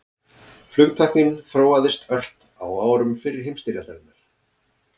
Flugtæknin þróaðist ört á árum fyrri heimsstyrjaldarinnar.